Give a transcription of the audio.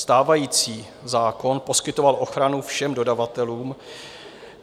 Stávající zákon poskytoval ochranu všem dodavatelům.